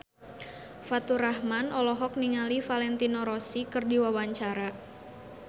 Faturrahman olohok ningali Valentino Rossi keur diwawancara